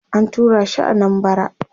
an turashi Anambara